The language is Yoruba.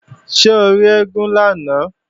Ṣé o rí eégún lánàá?